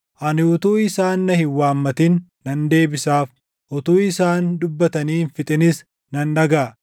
Ani utuu isaan na hin waammatin nan deebisaaf; utuu isaan dubbatanii hin fixinis nan dhagaʼa.